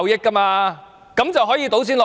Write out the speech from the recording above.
它這樣便可以倒錢落海。